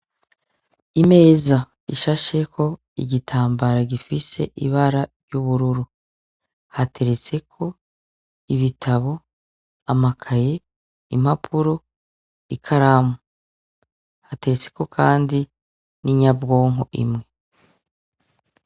Imeza ishasheko igitambara gifise ibara ry'ubururu hateretseko ibitabo amakaye impapuro i karamu hateretseko, kandi n'inyabwonko imwe.